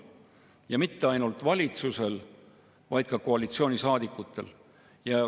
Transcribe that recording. Ja mitte ainult valitsusel, vaid ka koalitsioonisaadikutel.